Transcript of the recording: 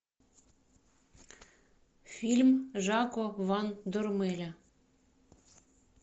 фильм жако ван дормеля